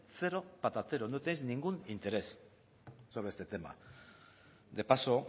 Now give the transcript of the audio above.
cero patatero no tenéis ningún interés sobre este tema de paso